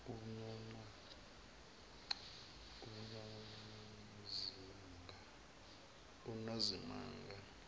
unozimanga